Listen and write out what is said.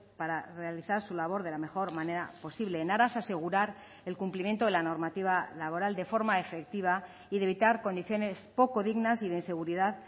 para realizar su labor de la mejor manera posible en aras a asegurar el cumplimiento de la normativa laboral de forma efectiva y de evitar condiciones poco dignas y de inseguridad